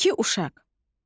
İki uşaq.